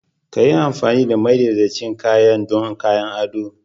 Ka yi amfani da madaidaicin kayan don kayan ado.